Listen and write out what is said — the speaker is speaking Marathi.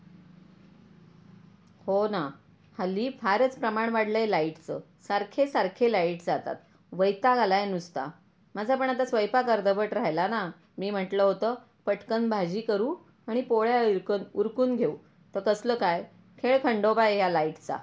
हो ना हल्ली फारच प्रमाण वाढलं आहे लाईटचं सारखे सारखे लाईट जातात वैताग आला आहे नुसता माझ पण आता स्वयपाक अर्धवट राहिला ना मी म्हंटल होत पटकन भाजी करू आणि पोळ्या उरकत उरकून घेऊ तर कसलं काय खेड खंडोबा आहे या लाईट चा .